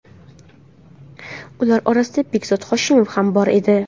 Ular orasida Behzod Hoshimov ham bor edi.